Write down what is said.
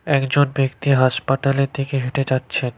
একজন ব্যক্তি হাসপাতালের দিকে হেঁটে যাচ্ছেন।